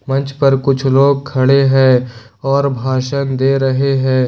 मंच पर कुछ लोग खड़े हैं और भाषण दे रहे हैं।